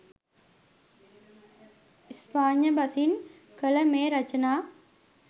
ස්පාඤ්ඤ බසින් කළ මේ රචනා